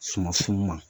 Suma funun ma